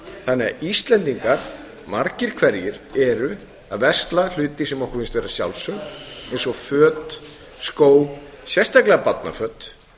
þannig að íslendingar margir hverjir eru að versla hluti sem okkur finnst vera sjálfsögð eins og föt skó sérstaklega barnaföt